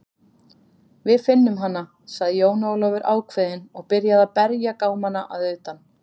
Við finnum hana, sagði Jón Ólafur ákveðinn og byrjaði að berja gámana að utan.